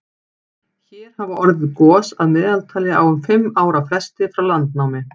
hér hafa orðið gos að meðaltali á um fimm ára fresti frá landnámi